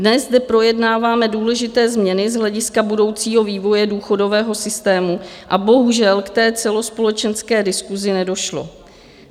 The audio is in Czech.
Dnes zde projednáváme důležité změny z hlediska budoucího vývoje důchodového systému a bohužel k té celospolečenské diskusi nedošlo.